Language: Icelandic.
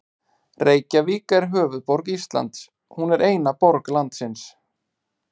Reykjavík er höfuðborg Íslands. Hún er eina borg landsins.